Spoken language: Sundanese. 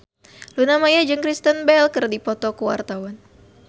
Luna Maya jeung Kristen Bell keur dipoto ku wartawan